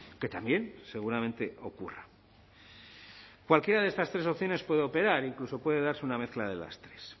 que también seguramente ocurra cualquiera de estas tres opciones puede operar incluso puede darse una mezcla de las tres